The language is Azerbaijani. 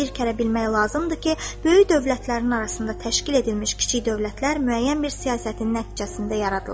Bir kərə bilmək lazımdır ki, böyük dövlətlərin arasında təşkil edilmiş kiçik dövlətlər müəyyən bir siyasətin nəticəsində yaradılır.